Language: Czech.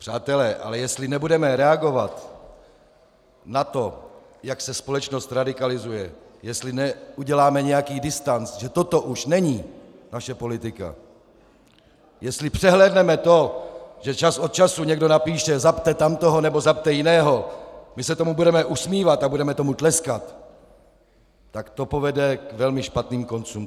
Přátelé, ale jestli nebudeme reagovat na to, jak se společnost radikalizuje, jestli neuděláme nějaký distanc, že toto už není naše politika, jestli přehlédneme to, že čas od času někdo napíše "zabte tamtoho nebo zabte jiného", my se tomu budeme usmívat a budeme tomu tleskat, tak to povede k velmi špatným koncům.